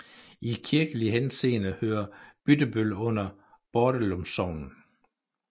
I kirkelig henseende hører Byttebøl under Bordelum Sogn